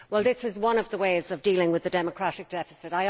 Well, this is one of the ways of dealing with the democratic deficit.